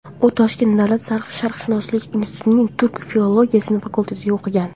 U Toshkent davlat sharqshunoslik institutining turk filologiyasi fakultetida o‘qigan.